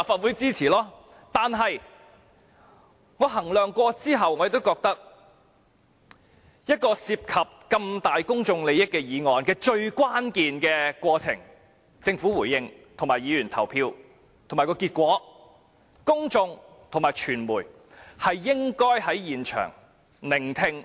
然而，經考慮後，我認為一項涉及如此重大公眾利益的議案的最關鍵過程，包括政府的回應和議員的投票結果，公眾及傳媒應該在場聆聽。